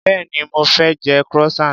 Béèni mo fé je croissant.